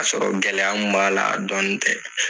K'a sɔrɔ gɛlɛya mun b'a la dɔni tɛ.